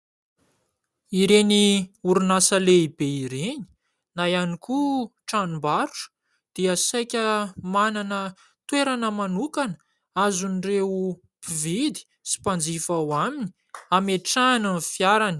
Ireny orinasa lehibe ireny na ihany koa tranom-barotra dia saika manana toerana manokana azon'ireo mpividy sy mpanjifa ao aminy ametrahany ny fiarany.